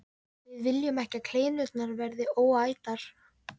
Við viljum ekki að kleinurnar verði óætar.